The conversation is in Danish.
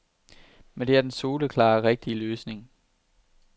Men det er den soleklare, rigtige løsning.